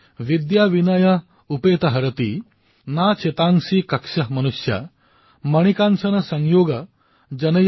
যদি আপোনালোকে ডেনিল মেডভেডেভৰ ভাষণ শুনা নাই তেন্তে মই আপোনালোকক বিশেষকৈ যুৱচামক কম যে এই ভিডিঅটো আপোনালোকে নিশ্চয়কৈ চাওক